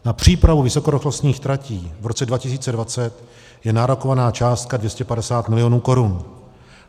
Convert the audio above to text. Na přípravu vysokorychlostních tratí v roce 2020 je nárokovaná částka 250 milionů korun.